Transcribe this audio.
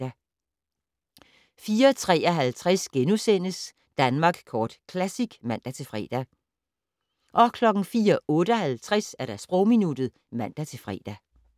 04:53: Danmark Kort Classic *(man-fre) 04:58: Sprogminuttet (man-fre)